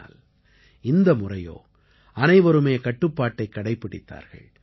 ஆனால் இந்த முறையோ அனைவருமே கட்டுப்பாட்டைக் கடைப்பிடித்தார்கள்